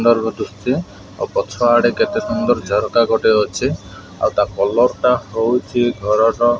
ଦୁଶଚି ଆଉ ପଛଆଡ଼େ କେତେ ସୁନ୍ଦର ଝରକା ଗୋଟେ ଅଛି। ଆଉ ତା କଲର୍ ଟା ହଉଛି ଘରର --